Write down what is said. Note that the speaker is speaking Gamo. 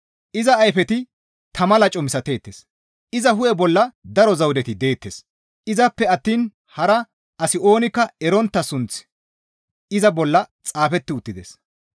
Iza ayfeti tama laco misateettes; iza hu7e bolla daro zawudeti deettes; izappe attiin hara asi oonikka erontta sunththi iza bolla xaafeti uttides.